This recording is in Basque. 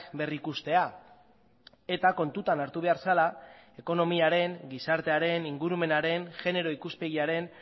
berrikustea eta kontutan hartu behar zela ekonomiaren gizartearen ingurumenaren genero ikuspegiaren